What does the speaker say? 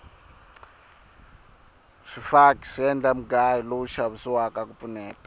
swifaki swi endla mugayo lowu xavisiwaka ku pfuneta